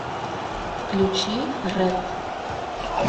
включи рэд